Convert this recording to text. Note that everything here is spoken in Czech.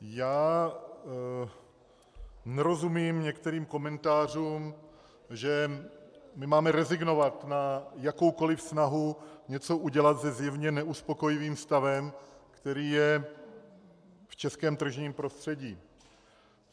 Já nerozumím některým komentářům, že my máme rezignovat na jakoukoliv snahu něco udělat se zjevně neuspokojivým stavem, který je v českém tržním prostředí.